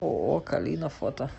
ооо калина фото